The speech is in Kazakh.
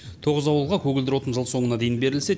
тоғыз ауылға көгілдір отын жыл соңына дейін берілсе